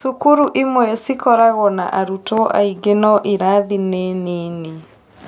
Cukuru imwe cikoragwo na arutwo aingĩ no irathi nĩ nini